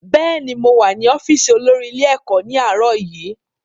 Bẹ́ẹ̀ni, mow à ní ọ́fíìsì olórí ilé-ẹ̀kọ́ ní àárọ̀ yìí.